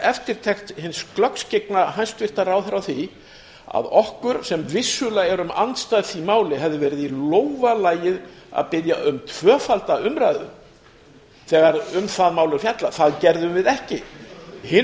eftirtekt hins glöggskyggna hæstvirta ráðherra á því að okkur sem vissulega erum andstæð því máli hefði verið í lófa lagið að biðja um tvöfalda umræðu þegar um það mál er fjallað það gerðum við ekki hinu